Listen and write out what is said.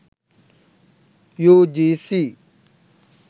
ugc